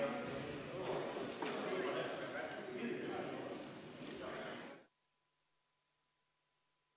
Istungi lõpp kell 21.31.